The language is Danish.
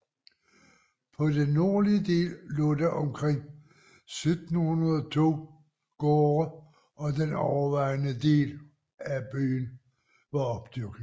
På den nordlige del lå der omkring 1700 to gårde og den overvejende del af øen var opdyrket